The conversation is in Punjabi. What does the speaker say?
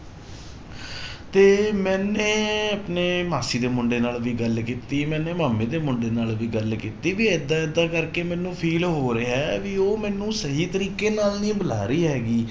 ਤੇ ਮੈਨੇ ਆਪਣੇ ਮਾਸੀ ਦੇ ਮੁੰਡੇ ਦੇ ਨਾਲ ਵੀ ਗੱਲ ਕੀਤੀ ਮੈਨੇ ਮਾਮੇ ਦੇ ਮੁੰਡੇ ਨਾਲ ਵੀ ਗੱਲ ਕੀਤੀ ਵੀ ਏਦਾਂ ਏਦਾਂ ਕਰਕੇ ਮੈਨੂੰ feel ਹੋ ਰਿਹਾ ਹੈ ਵੀ ਉਹ ਮੈਨੂੰ ਸਹੀ ਤਰੀਕੇ ਨਾਲ ਨਹੀਂ ਬੁਲਾ ਰਹੀ ਹੈਗੀ